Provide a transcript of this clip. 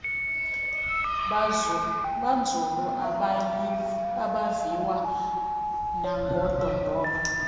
banzulu abaviwa nangodondolo